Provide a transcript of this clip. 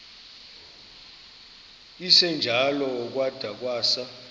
esinjalo kwada kwasa